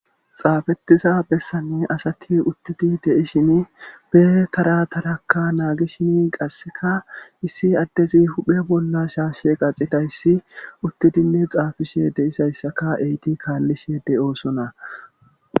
Xaafetiza bessanne asati uttidi deishin be karatarakka naagi shini qasseka issi addezi huphe bolla shaashshe qaxitayssi uttidinne xaafishe deisayssaka eyti kaallishe de7oosona